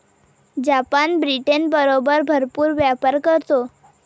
Japan ब्रिटनबरोबर भरपूर व्यापार करतो.